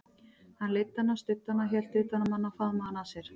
Hann leiddi hana, studdi hana, hélt utan um hana, faðmaði hana að sér.